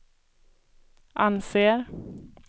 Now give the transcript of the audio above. anser